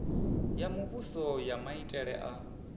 ya muvhuso ya maitele a